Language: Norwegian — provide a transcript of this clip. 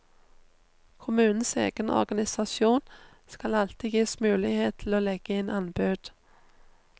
Kommunens egen organisasjon skal alltid gis mulighet til å legge inn anbud.